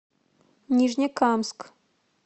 нижнекамск